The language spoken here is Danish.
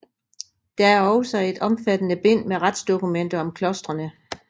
Der er også et omfattende bind med retsdokumenter om klostrene